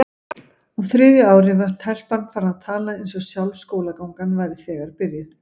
Á þriðja ári var telpan farin að tala eins og sjálf skólagangan væri þegar byrjuð.